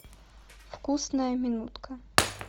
вкусная минутка